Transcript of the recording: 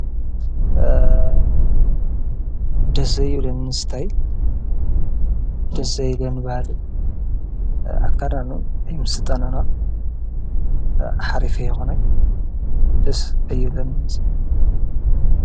ደስ ዘይብለኒ እስታይል ደስለ ዘይ ባህሊ ኣካዳኑ ኣይምስጠናና ኃሪፉ አይኾነን ደስ አይብለኒን እዚ።